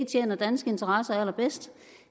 tjener danske interesser allerbedst